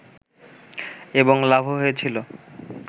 এবং লাভও হয়েছিল